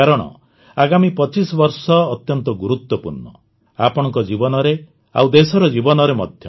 କାରଣ ଆଗାମୀ ୨୫ ବର୍ଷ ଅତ୍ୟନ୍ତ ଗୁରୁତ୍ୱପୂର୍ଣ୍ଣ ଆପଣଙ୍କ ଜୀବନରେ ଆଉ ଦେଶର ଜୀବନରେ ମଧ୍ୟ